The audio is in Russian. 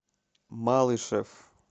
малышев